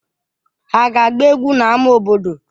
Ha ga-agba egwu n'ámá obodo?